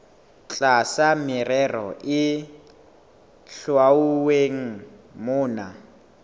tlasa merero e hlwauweng mona